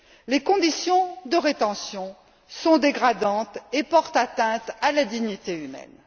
Les conditions de rétention sont dégradantes et portent atteinte à la dignité humaine.